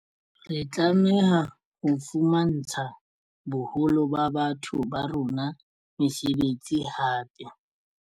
Re tlameha ho fumantsha boholo ba batho ba rona mesebetsi hape.